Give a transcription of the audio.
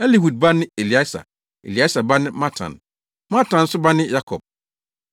Elihud ba ne Eleasar, Eleasar ba ne Matan. Matan nso ba ne Yakob,